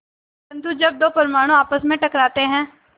परन्तु जब दो परमाणु आपस में टकराते हैं